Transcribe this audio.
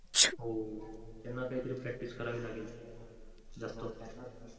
हो त्यांहा काय तरी practice करावे लागेल जास्त.